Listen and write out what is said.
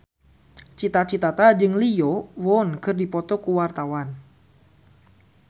Cita Citata jeung Lee Yo Won keur dipoto ku wartawan